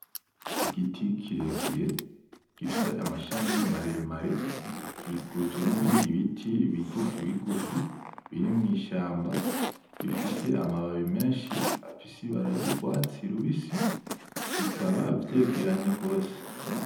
Igiti kirekire gifise amashami maremare gikikujwe nibindi biti bigufi bigufi, biri mwishamba bifise amababi menshi afise ibara ryurwatsi rubisi bikaba vyegeranye gose .